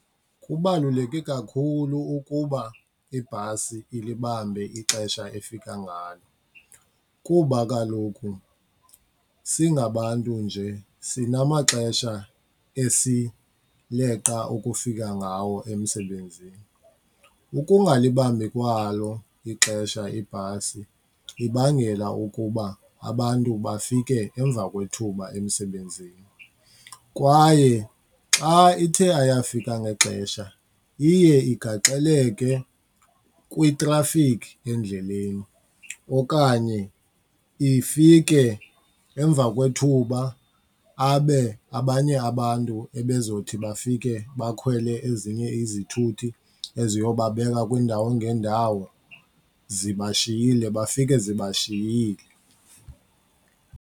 Kubaluleke kakhulu ukuba ibhasi ilibambe ixesha efika ngalo kuba kaloku singabantu nje sinamaxesha esileqa ukufika ngawo emsebenzini. Ukungalibambi kwalo ixesha ibhasi ibangela ukuba abantu bafike emva kwethuba emsebenzini kwaye xa ithe ayafika ngexesha, iye igaxeleke kwitrafikhi endleleni okanye ifike emva kwethuba abe abanye abantu ebezothi bafike bakhwele ezinye izithuthi eziyobabeka kwiindawo ngeendawo zibashiyile, bafike zibashiyile.